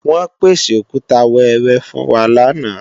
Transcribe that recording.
Wọ́n pèsè Òkúta wẹẹrẹ fún wa lánàá